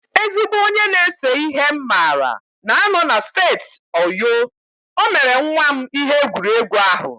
Ezigbo onye na-ese ihe m maara na-anọ na steeti Oyo, o mere nwa m ihe egwuregwu ahụ